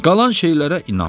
Qalan şeylərə inanma.